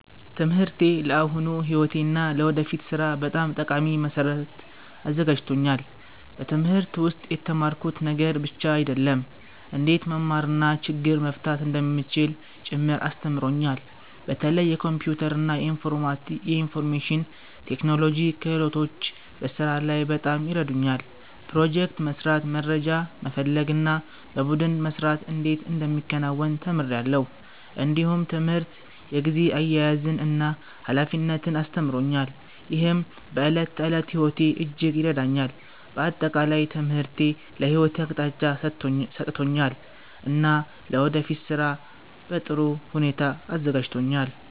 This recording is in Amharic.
ትምህርቴ ለአሁኑ ሕይወቴ እና ለወደፊት ሥራ በጣም ጠቃሚ መሠረት አዘጋጅቶኛል። በትምህርት ውስጥ የተማርኩት ነገር ብቻ አይደለም፣ እንዴት መማር እና ችግር መፍታት እንደሚቻል ጭምር አስተምሮኛል። በተለይ የኮምፒውተር እና የኢንፎርሜሽን ቴክኖሎጂ ክህሎቶች በስራ ላይ በጣም ይረዱኛል። ፕሮጀክት መስራት፣ መረጃ መፈለግ እና በቡድን መስራት እንዴት እንደሚከናወን ተምሬአለሁ። እንዲሁም ትምህርት የጊዜ አያያዝን እና ኃላፊነትን አስተምሮኛል፣ ይህም በዕለት ተዕለት ሕይወቴ እጅግ ይረዳኛል። በአጠቃላይ ትምህርቴ ለሕይወቴ አቅጣጫ ሰጥቶኛል እና ለወደፊት ሥራ በጥሩ ሁኔታ አዘጋጅቶኛል።